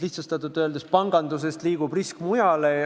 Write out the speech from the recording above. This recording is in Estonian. Lihtsustatult öeldes pangandusest liigub risk mujale.